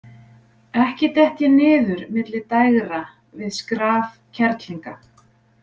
Ekki dett ég niður milli dægra við skraf kerlinga.